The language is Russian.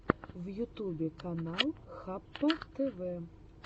в ютубе канал хаппатв